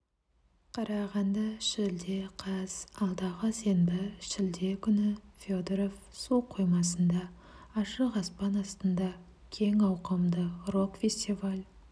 қарағанды шілде қаз алдағы сенбі шілде күні федоров су қоймасында ашық аспан астында кең ауқымды рок-фестиваль